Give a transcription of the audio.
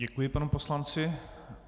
Děkuji panu poslanci.